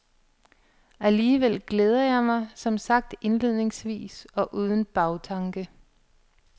Alligevel glæder jeg mig, som sagt indledningsvis og uden bagtanke.